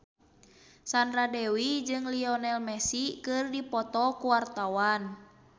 Sandra Dewi jeung Lionel Messi keur dipoto ku wartawan